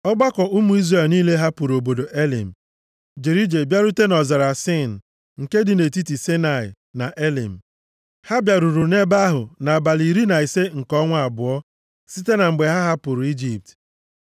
Ọgbakọ ụmụ Izrel niile hapụrụ obodo Elim, jere ije bịarute nʼọzara Sin nke dị nʼetiti Saịnaị na Elim. Ha bịaruru nʼebe ahụ nʼabalị iri na ise nke ọnwa abụọ, site na mgbe ha hapụrụ Ijipt.